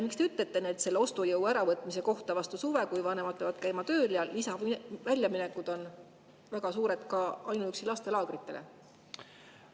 Mis te ütlete vastu suve ostujõu äravõtmise kohta, kui vanemad peavad käima tööl ja lisaväljaminekud on väga suured, ka ainuüksi lastelaagritele?